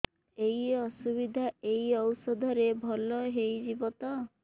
ଏଇ ଅସୁବିଧା ଏଇ ଔଷଧ ରେ ଭଲ ହେଇଯିବ ତ